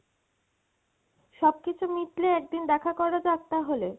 সব কিছু মিটলে একদিন দেখা করা যাক তাহলে?